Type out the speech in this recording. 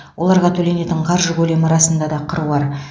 оларға төленетін қаржы көлемі расында да қыруар